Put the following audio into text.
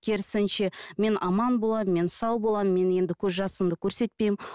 керісінше мен аман боламын мен сау боламын мен енді көз жасымды көрсетпеймін